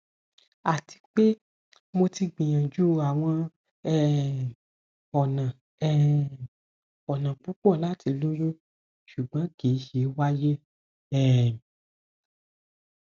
ati pe mo ti gbiyanju awọn um ọna um ọna pupọ lati loyun ṣugbọn kii ṣe waye um